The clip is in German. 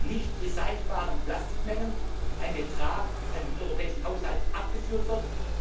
nicht recycelbaren Plastikmengen ein Betrag an den europäischen Haushalt abgeführt wird.